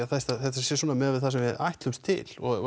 þetta sé svona miðað við það sem við ætlumst til og